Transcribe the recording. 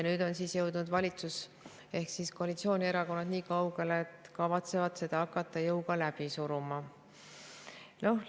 Nüüd on siis jõudnud valitsus ehk koalitsioonierakonnad nii kaugele, et kavatsevad hakata seda jõuga läbi suruma.